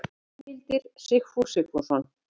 Heimildir Sigfús Sigfússon.